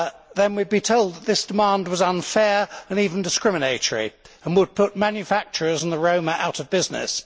then we would be told that this demand was unfair and even discriminatory and would put manufacturers and the Roma out of business.